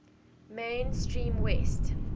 main stream west